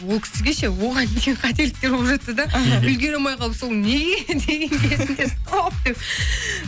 ол кісіге ше оған дейін қателіктер болып жатты да іхі үлгере алмай қалып соны неге деген кезінде стоп деп